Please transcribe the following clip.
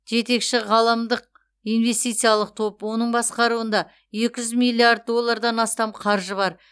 жетекші ғаламдық инвестициялық топ оның басқаруында екі жүз миллиард доллардан астам қаржы бар